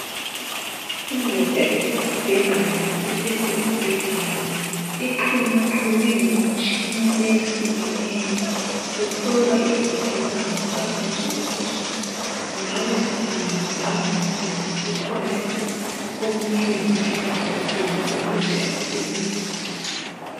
Indoda isesibhedlela ilele embhedeni, ixhunyaxhunywe ngemitshina eyehlukeneyo. Uhlolwa izitho zangaphakathi ukuthi zingabe ziphambaniseke ngaphi kumbe kukhona lapho okumele zincediswe khona ukuze asile.